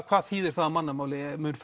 hvað þýðir það á mannamáli mun